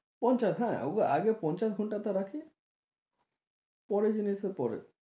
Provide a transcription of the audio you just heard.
পঞ্চাশ হ্যাঁ ওকে আগে পঞ্চাশ ঘন্টা রাখে পরে জেনে সে করে